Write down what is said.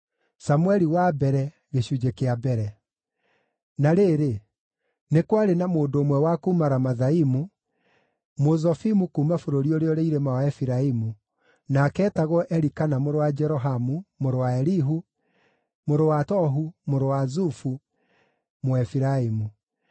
Na rĩrĩ, nĩ kwarĩ na mũndũ ũmwe wa kuuma Ramathaimu, Mũzofimu kuuma bũrũri ũrĩa ũrĩ irĩma wa Efiraimu, nake eetagwo Elikana mũrũ wa Jerohamu, mũrũ wa Elihu, mũrũ wa Tohu, mũrũ wa Zufu, Mũefiraimu.